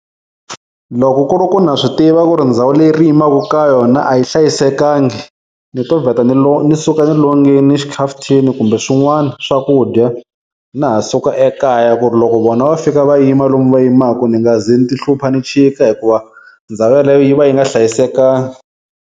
Loko ku ri ku na swi tiva ku ri ndhawu leyi ri yimaku ka yona a yi hlayisekangi ni to vheta ni suka ni longini xikhafuthini kumbe swin'wana swakudya na ha suka ekaya ku ri loko vona va fika va yima lomu va yimaku ni nga ze ni ti hlupha ni chika hikuva ndhawu yeleyo yi va yi nga hlayisekanga.